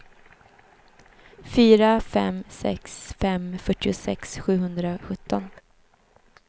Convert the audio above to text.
fyra fem sex fem fyrtiosex sjuhundrasjutton